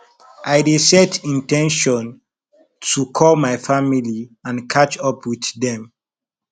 i dey set in ten tion to call my family and catch up with dem